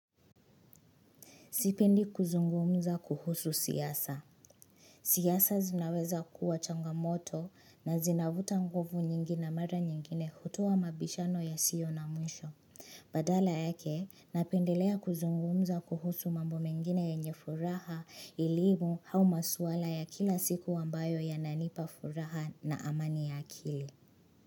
Sipendi kuzungumza kuhusu siasa. Siasa zinaweza kuwa changamoto na zinavuta nguvu nyingi na mara nyingine hutoa mabishano yasio na mwisho. Badala yake napendelea kuzungumza kuhusu mambo mengine yenye furaha elimu au maswala ya kila siku ambayo yananipa furaha na amani ya akili.